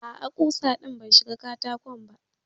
A'a kusa din bai shiga katako ba.